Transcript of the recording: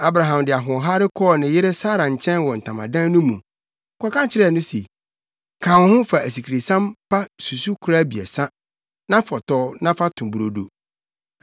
Enti Abraham de ahoɔhare kɔɔ ne yere Sara nkyɛn wɔ ntamadan no mu, kɔka kyerɛɛ no se, “Ka wo ho fa asikresiam pa susukoraa abiɛsa, na fɔtɔw na fa to brodo.”